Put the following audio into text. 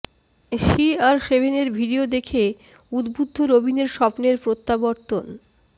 C R সেভেনের video দেখে উদ্বুদ্ধ রবিনের স্বপ্নের প্রত্যাবর্তন